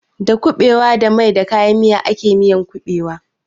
Da kuɓewa da mai da kayan miya ake miyan ƙuɓewa.